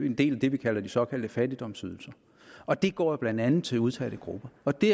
en del af det vi kaldte de såkaldte fattigdomsydelser og de går jo blandt andet til udsatte grupper og det